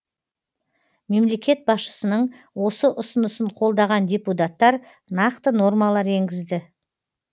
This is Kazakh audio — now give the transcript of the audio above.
мемлекет басшысының осы ұсынысын қолдаған депутаттар нақты нормалар енгізді